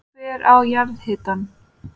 Hver á jarðhitann?